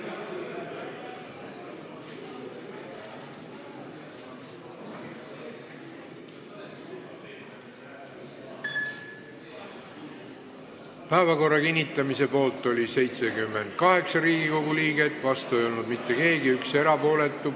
Hääletustulemused Päevakorra kinnitamise poolt oli 78 Riigikogu liiget, vastu ei olnud mitte keegi, üks oli erapooletu.